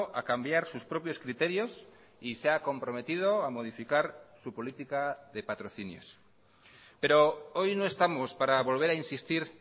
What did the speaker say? a cambiar sus propios criterios y se ha comprometido a modificar su política de patrocinios pero hoy no estamos para volver a insistir